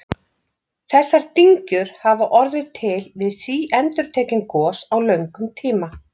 Þessar dyngjur hafa orðið til við síendurtekin gos á löngum tíma.